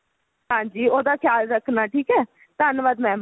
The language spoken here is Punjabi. ਹਾਂਜੀ ਉਹਦਾ ਖ਼ਿਆਲ ਰੱਖਣਾ ਠੀਕ ਹੈ ਧੰਨਵਾਦ ਮੈਮ